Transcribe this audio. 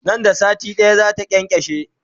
Nan da sati ɗaya zata kyankyashe